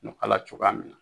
Ɲɔ k'ala cogoya min na